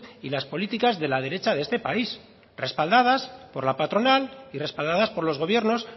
y las políticas de la derecha de este país respaldadas por la patronal y respaldadas por los gobiernos